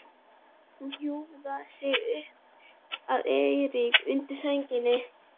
Hún hjúfraði sig upp að Eiríki undir sænginni.